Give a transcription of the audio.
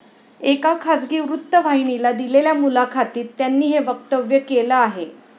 एका खासगी वृत्तवाहिनीला दिलेल्या मुलाखातीत त्यांनी हे वक्तव्य केलं आहे.